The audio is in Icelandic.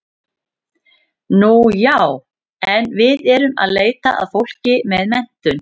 Nú já, en við erum að leita að fólki með menntun.